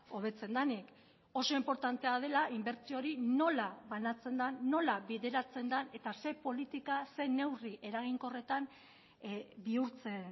hobetzen denik oso inportantea dela inbertsio hori nola banatzen den nola bideratzen den eta zer politika zein neurri eraginkorretan bihurtzen